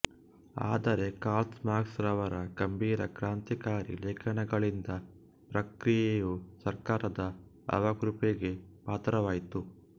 ಆದರೆ Karl Marx ರವರ ಗಂಭೀರ ಕ್ರಾಂತಿಕಾರಿ ಲೇಖನಗಳಿಂದ ಪತ್ರಿಕೆಯು ಸರ್ಕಾರದ ಅವಕೃಪೆಗೆ ಪಾತ್ರವಾಯಿತು